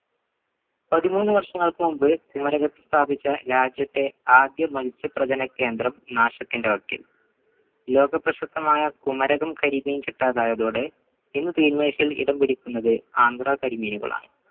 പതിമൂന്നു വർഷങ്ങൾക്കു മുമ്പ് കുമരകത്തിൽ സ്ഥാപിച്ച രാജ്യത്തെ ആദ്യ മത്സ്യപ്രചന കേന്ദ്രം നാശത്തിന്റെ വക്കിൽ ലോകപ്രശസ്തമായ കുമരകം കരിമീൻ കിട്ടാതായതോടെ ഇന്ന് തീൻമേശയിൽ ഇടം പിടിക്കുന്നത് ആന്ധ്ര കരിമീനുകളാണ്